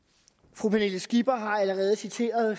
fru pernille skipper har allerede citeret